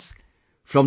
Friends,